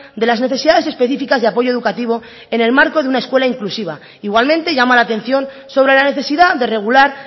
de las necesidades específicas de apoyo educativo en el marco de una escuela inclusiva igualmente llama la atención sobre la necesidad de regular